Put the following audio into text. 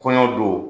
Kɔɲɔ don